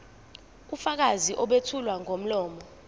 ubufakazi obethulwa ngomlomo